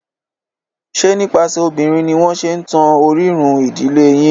Ṣe nípasẹ̀ obìnrin ni wọ́n ṣe ń tan orírun ìdílé yín?